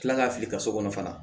Kila ka fili ka so kɔnɔ fana